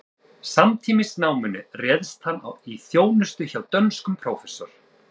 Samtímis náminu réðst hann í þjónustu hjá dönskum prófessor